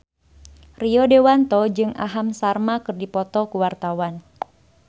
Rio Dewanto jeung Aham Sharma keur dipoto ku wartawan